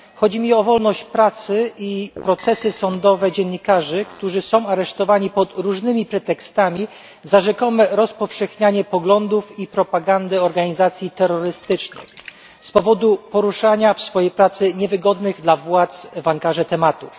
Chodzi mi o wolność prasy i procesy sądowe dziennikarzy, którzy są aresztowani pod różnymi pretekstami za rzekome rozpowszechnianie poglądów i propagandę organizacji terrorystycznych z powodu poruszania w swojej pracy niewygodnych dla władz w Ankarze tematów.